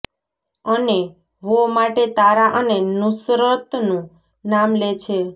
અને વો માટે તારા અને નુસરતનું નામ લે છે